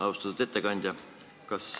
Austatud ettekandja!